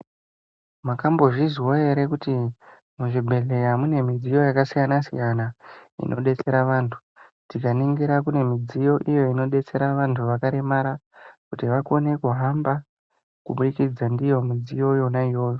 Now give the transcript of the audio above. Mwakambozvizwawo ere kuti muzvibhedhlera mune midziyo yakasiyana siyana inodetsera vantu. Tikaningira kune midziyo iyo inodetsera vantu vakaremara kuti vakone kuhamba kubudikidza ndiyo midziyo yona iyoyo